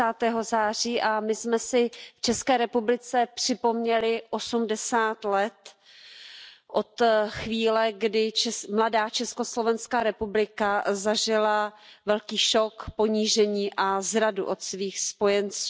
30. září a my jsme si v České republice připomněli 80 let od chvíle, kdy mladá Československá republika zažila velký šok, ponížení a zradu od svých spojenců.